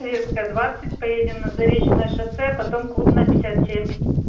советская двадцать поедем на заречное шоссе а потом клубная пятьдесят семь